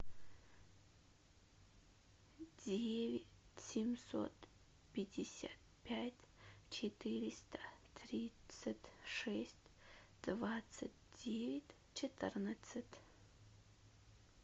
девять семьсот пятьдесят пять четыреста тридцать шесть двадцать девять четырнадцать